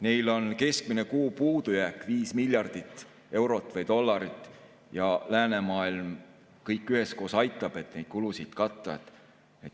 Neil on keskmine kuupuudujääk 5 miljardit eurot või dollarit ja läänemaailm kõik üheskoos aitab, et neid kulusid katta.